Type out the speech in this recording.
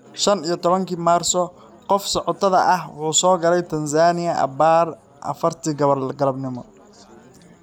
shaan iyo tobaankii Maarso, qofka socotada ah wuxuu soo galay Tansaaniya abbaare afartii galabnimo.